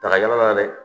Daga la dɛ